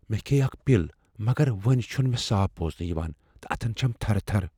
مےٚ كھییہِ اكھ پِل مگر وونہِ چُھنہٕ مےٚ صاف بوزنہٕ یوان تہٕ اتھن چھم تھرٕ تھرٕ۔